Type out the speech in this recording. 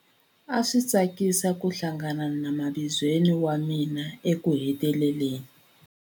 A swi tsakisa ku hlangana na mavizweni wa mina ekuheteleleni.